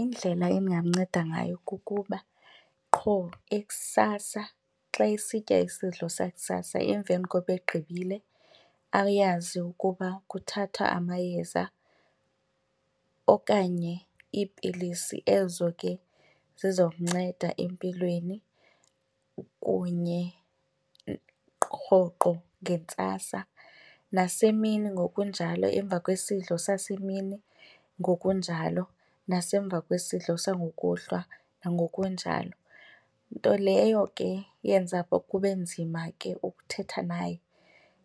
indlela endingamnceda ngayo kukuba qho ekusasa xa esitya isidlo sakusasa emveni koba egqibile, ayazi ukuba kuthathwa amayeza okanye iipilisi ezo ke zizomnceda empilweni kunye rhoqo ngentsasa. Nasemini ngokunjalo emva kwesidlo sasemini ngokunjalo nasemva kwesidlo sangokuhlwa nangokunjalo. Nto leyo ke yenza kube nzima ke ukuthetha naye